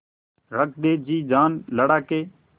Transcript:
रख दे जी जान लड़ा के